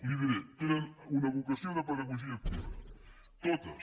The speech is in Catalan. li ho diré tenen una vocació de pedagogia activa totes